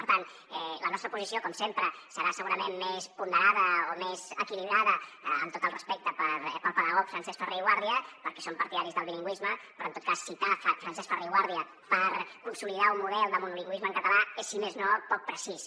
per tant la nostra posició com sempre serà segurament més ponderada o més equilibrada amb tot el respecte pel pedagog francesc ferrer i guàrdia perquè som partidaris del bilingüisme però en tot cas citar francesc ferrer i guàrdia per consolidar un model de monolingüisme en català és si més no poc precís